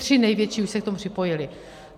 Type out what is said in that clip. Tři největší už se k tomu připojily.